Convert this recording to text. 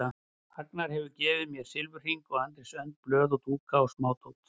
Agnar hefur gefið mér silfurhring og Andrés önd blöð og dúkku og smádót.